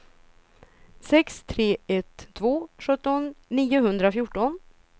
sex tre ett två sjutton niohundrafjorton